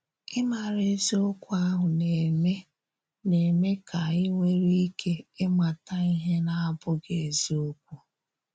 Ìmàrà ezìokwu ahụ na-eme na-eme ka ányị nwèrè íkè ịmàtà íhè na-abụghị ezìokwu.